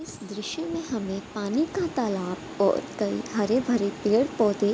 इस दृश्य में हमें पानी का तालाब कई हरे भरे पेड़-पौधे --